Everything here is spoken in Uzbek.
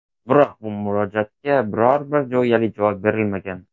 Biroq bu murojaatga biror-bir jo‘yali javob berilmagan.